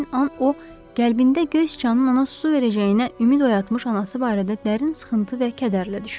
Həmin an o, qəlbində göy siçanın ona su verəcəyinə ümid oyatmış anası barədə dərin sıxıntı və kədərlə düşündü.